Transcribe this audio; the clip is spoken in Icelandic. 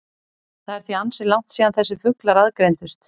Það er því ansi langt síðan þessir fuglar aðgreindust.